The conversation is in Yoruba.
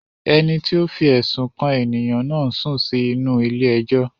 Ẹni tí ó fi ẹ̀sùn kàn ènìyàn náà ń sùn sí inú-u ilé ẹjọ́